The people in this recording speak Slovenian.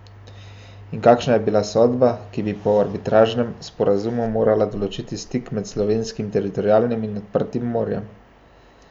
In kakšna je bila sodba, ki bi po arbitražnem sporazumu morala določiti stik med slovenskim teritorialnim in odprtim morjem?